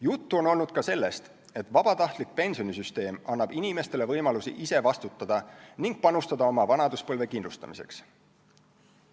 Juttu on olnud ka sellest, et vabatahtlik pensionisüsteem annab inimestele võimaluse ise vastutada ning panustada oma vanaduspõlve kindlustamiseks.